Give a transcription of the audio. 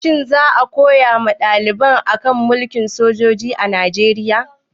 Shin za a koya wa ɗaliban a kan mulkin sojoji a Najeriya?